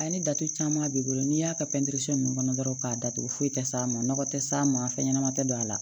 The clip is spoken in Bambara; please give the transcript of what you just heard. A ye datugu caman b'i bolo n'i y'a ka pɛntiri ninnu kɔnɔ dɔrɔn k'a datugu foyi tɛ s'a ma nɔgɔ tɛ s'a ma fɛn ɲɛnama tɛ don a la